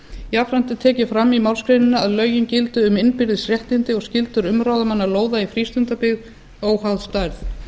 jafnframt er tekið fram í málsgreininni að lögin gildi um innbyrðis réttindi og skyldur umráðamanna lóða í frístundabyggð óháð stærð